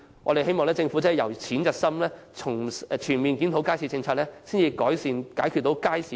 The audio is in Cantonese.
我們希望政府由淺入深，全面檢討街市政策，以改善和解決街市現存的問題。